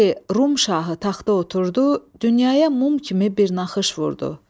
Elə ki Rum şahı taxta oturdu, dünyaya mum kimi bir naxış vurdu.